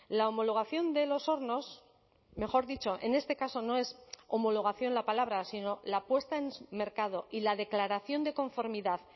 la homologación de los hornos mejor dicho en este caso no es homologación la palabra sino la puesta en mercado y la declaración de conformidad